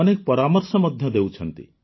ଅନେକ ପରାମର୍ଶ ମଧ୍ୟ ଦେଉଛନ୍ତି